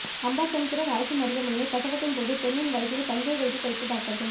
அம்பாசமுத்திரம் அரசு மருத்துவமனையில் பிரசவத்தின் போது பெண்ணின் வயிற்றில் பஞ்சை வைத்து தைத்த டாக்டர்கள்